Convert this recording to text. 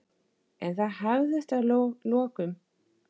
En það hafðist að lokum.